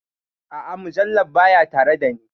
A'a, mujallar baya tare da ni.